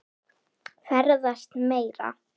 Ferðast meira.